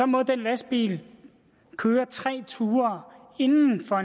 må den lastbil køre tre ture